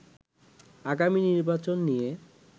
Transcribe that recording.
আগামী নির্বাচন নিয়ে